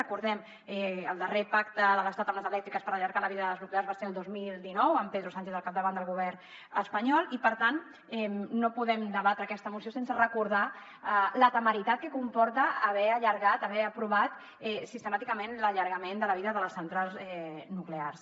recordem ho el darrer pacte de l’estat amb les elèctriques per allargar la vida de les nuclears va ser el dos mil dinou amb pedro sánchez al capdavant del govern espanyol i per tant no podem debatre aquesta moció sense recordar la temeritat que comporta haver allargat haver aprovat sistemàticament l’allargament de la vida de les centrals nuclears